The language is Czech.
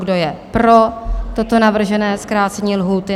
Kdo je pro toto navržené zkrácení lhůty?